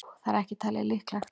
Það er ekki talið líklegt.